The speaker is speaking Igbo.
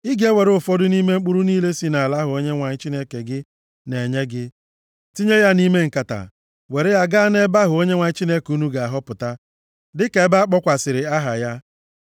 ị ga-ewere ụfọdụ nʼime mkpụrụ niile si nʼala ahụ Onyenwe anyị Chineke gị na-enye gị, tinye ya nʼime nkata, were ya gaa nʼebe ahụ Onyenwe anyị Chineke unu ga-ahọpụta, dịka ebe a kpọkwasịrị aha ya.